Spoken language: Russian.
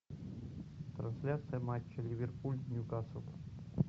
трансляция матча ливерпуль ньюкасл